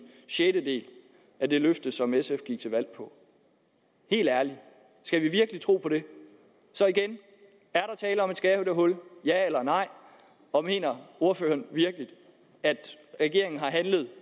sjettedel af det løfte som sf gik til valg på helt ærligt skal vi virkelig tro på det så igen er der tale om et skattehul ja eller nej og mener ordføreren virkelig at regeringen handlede i